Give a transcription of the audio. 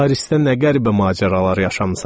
Parisdə nə qəribə macəralar yaşamısan!